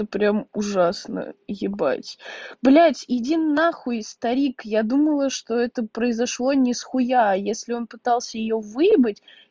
это прям ужасно ебать блядь иди нахуй старик я думала что это произошло не с хуя а если он пытался её выебать